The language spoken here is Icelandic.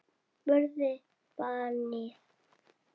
spurði barnið.